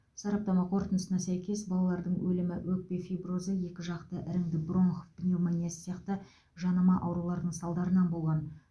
сараптама қорытындысына сәйкес балалардың өлімі өкпе фиброзы екіжақты іріңді бронх пневмониясы сияқты жанама аурулардың салдарынан болған